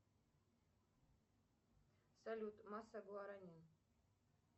салют масса гуаранин